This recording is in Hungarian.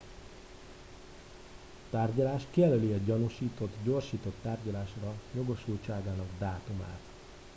a tárgyalás kijelöli a gyanúsított gyorsított tárgyalásra jogosultságának dátumát